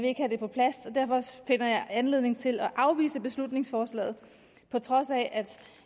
ikke have det på plads og derfor finder jeg anledning til at afvise beslutningsforslaget på trods af at